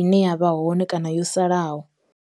ine ya vha hone kana yo salaho.